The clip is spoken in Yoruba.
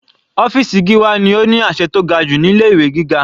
Ọ́fìsì Gíwá ni ó ní àṣẹ tó ga jù ní ilé ìwé gíga.